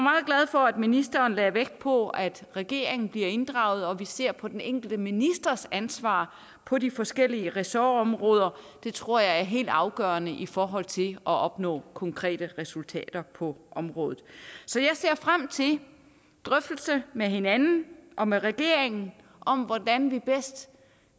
for at ministeren lagde vægt på at regeringen bliver inddraget og at vi ser på den enkelte ministers ansvar på de forskellige ressortområder det tror jeg er helt afgørende i forhold til at opnå konkrete resultater på området så jeg ser frem til drøftelser med hinanden og med regeringen om hvordan vi bedst